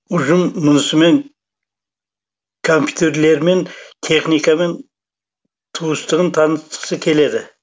ұжым мұнысымен компьютерлермен техникамен туыстығын танытқысы келеді